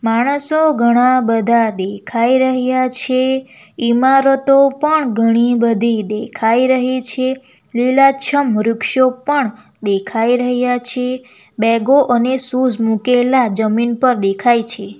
માણસો ઘણા બધા દેખાઈ રહ્યા છે ઈમારતો પણ ઘણી બધી દેખાઈ રહી છે લીલાછમ વૃક્ષો પણ દેખાઈ રહ્યા છે બેગો અને શૂઝ મુકેલા જમીન પર દેખાય છે.